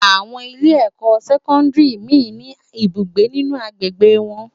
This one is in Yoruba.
Awòn ilé èkò sèkòndári mi ni áwòn ibúgbé ninú ágbégbé wòn